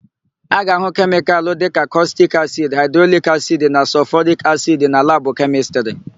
A ga-ahụ kemịkalụ dịka kọstik soda, haịdroklorik asidi na sọlfọrik asidi na labụ Kemịstrị.